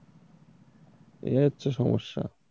এই হচ্ছে সমস্যা।